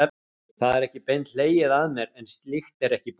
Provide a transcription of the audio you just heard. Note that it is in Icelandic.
Það er ekki beint hlegið að mér, en slíkt er ekki í boði.